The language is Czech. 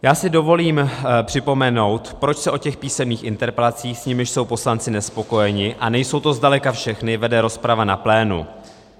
Já si dovolím připomenout, proč se o těch písemných interpelacích, s nimiž jsou poslanci nespokojeni, a nejsou to zdaleka všechny, vede rozprava na plénu.